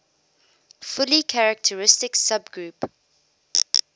fully characteristic subgroup